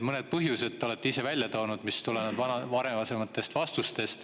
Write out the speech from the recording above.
Mõned põhjused te olete ise varasemates vastustes välja toonud.